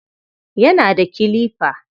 Yana da kilifa.